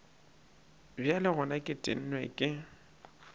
bjale gona ke tennwe ke